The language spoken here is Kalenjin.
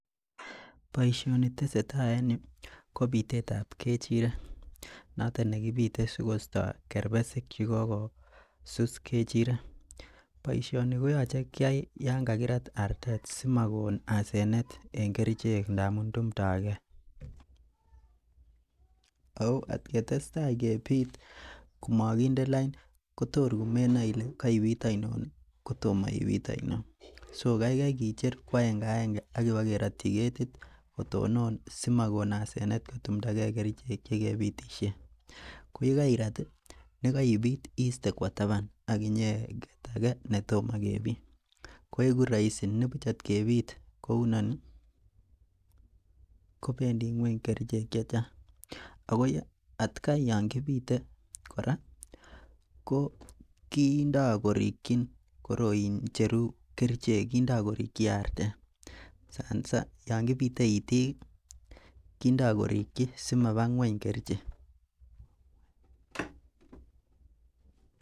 Boisioni tesetai en yu kobitet tab kechirek, not on nekibite sikoista kerbesik chekokosus kechirek. Boisioni koyoche kiai yonkakirat artet simakon asenet en kerichek ndamuun tumtogee Ako atketestai kebit ko makinde lain kotokor komenae Ile koibit ainon kotomo ibit ainon. so kaikai kecher koaengeaenge akobakerotie ketit kotonon simakoon asenet kotumtagee kerichek che kebitisien. Koyekairat nekoibit iiste kuo taban agkinyeket ake netomo kebit koegu rahisi nibuch at kebit kou inoni kobendii ng'uony kerichek chechang. Ako atGai Yoon kibite kora ko kindoo korikei koroin icheru kerichek artet ko yon kibite itik kindoo korikei kerichek